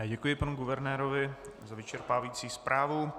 Já děkuji panu guvernérovi za vyčerpávající zprávu.